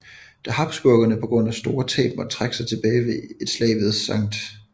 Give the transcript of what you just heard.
Da habsburgerne på grund af store tab måtte trække sig tilbage ved et slag ved St